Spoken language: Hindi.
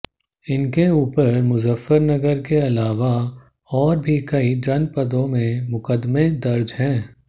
इनके ऊपर मुजफ्फरनगर के अलावा और भी कई जनपदों में मुकदमें दर्ज है